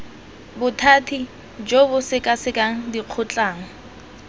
bothati jo bo sekasekang dikgotlang